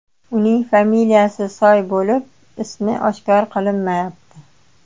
Uning familiyasi Soy bo‘lib, ismi oshkor qilinmayapti.